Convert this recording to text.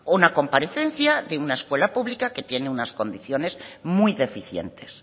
una comparecencia de una escuela pública que tiene unas condiciones muy deficientes